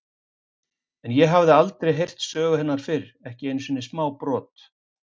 En ég hafði aldrei heyrt sögu hennar fyrr, ekki einu sinni smábrot.